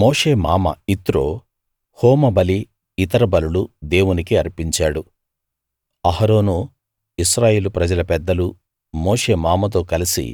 మోషే మామ యిత్రో హోమబలి ఇతర బలులు దేవునికి అర్పించాడు అహరోను ఇశ్రాయేలు ప్రజల పెద్దలు మోషే మామతో కలిసి